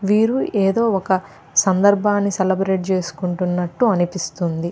వీరు ఏదో ఒక సందర్భాన్నిసెలబ్రేట్ చేసుకున్నట్టు అనిపిస్తుంది.